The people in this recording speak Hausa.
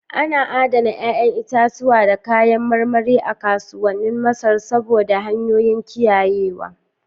Ana adana 'ya'yan itatuwa da kayan marmari a kasuwannin Masar saboda hanyoyin kiyayewa.